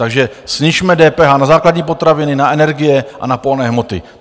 Takže snižme DPH na základní potraviny, na energie a na pohonné hmoty.